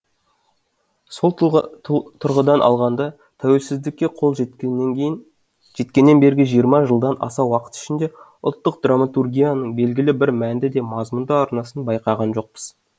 сол тұрғыдан алғанда тәуелсіздікке қол жеткеннен бергі жиырма жылдан аса уақыт ішінде ұлттық драматургияның белгілі бір мәнді де мазмұнды арнасын байқаған жоқпыз